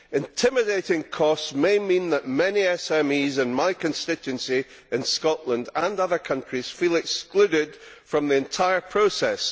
Intimidating costs may mean that many SMEs in my constituency in Scotland, and those in other countries, feel excluded from the entire process.